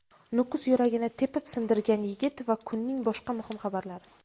Nukus "yuragi"ni tepib sindirgan yigit va kunning boshqa muhim xabarlari.